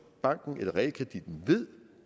banken eller realkreditten ved